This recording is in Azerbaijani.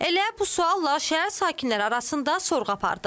Elə bu sualla şəhər sakinləri arasında sorğu apardıq.